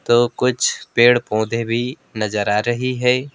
तो कुछ पेड़ पौधे भी नजर आ रही है।